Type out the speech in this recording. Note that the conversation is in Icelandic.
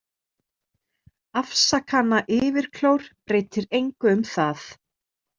Afsakanayfirklór breytir engu um það.